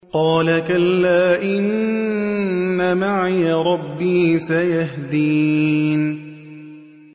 قَالَ كَلَّا ۖ إِنَّ مَعِيَ رَبِّي سَيَهْدِينِ